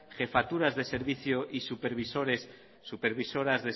jefaturas de servicio y supervisoras